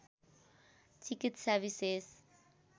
चिकित्सा विशेष